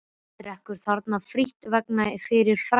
Drekkur þarna frítt vegna fyrri frægðar.